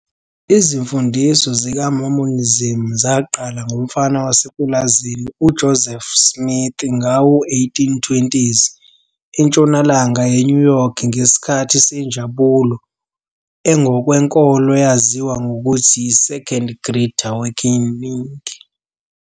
Izimfundiso zikaMormonism zaqala ngomfana wasepulazini uJoseph Smith ngawo-1820s entshonalanga yeNew York ngesikhathi senjabulo engokwenkolo eyaziwa ngokuthi yi-Second Great Awakening.